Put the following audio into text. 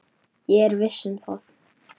Ég er viss um það.